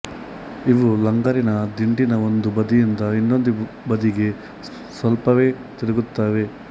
ಇವು ಲಂಗರಿನ ದಿಂಡಿನ ಒಂದು ಬದಿಯಿಂದ ಇನ್ನೊಂದು ಬದಿಗೆ ಸ್ವಲ್ಪವೇ ತಿರುಗುತ್ತವೆ